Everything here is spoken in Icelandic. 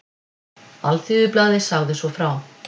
Alþýðublaðið sagði svo frá